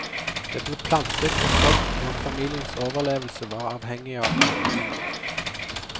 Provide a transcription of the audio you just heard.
Det ble plantet og sådd og familiens overlevelse var avhengig av avlingene.